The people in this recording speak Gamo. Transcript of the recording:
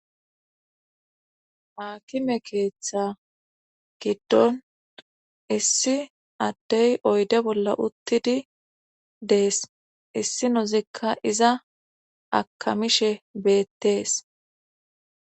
hakime keeththa giddon issi addey oyde bolla uttidi dees issi nozikka iza akamishe beettees